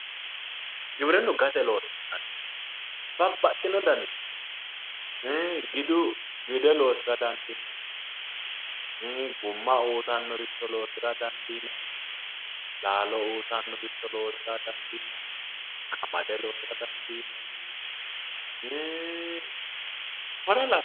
Giwirinu gate loosi'nanni babbaxino danni ii giddu ,gidde loosira dandiinanni, guma uyittannore loosira dandiinanni laalo uyittanoricho loosira dandiinanni ,qamade loosa dandiinanni i'ii kore lawanore